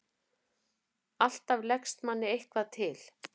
Alltaf leggst manni eitthvað til.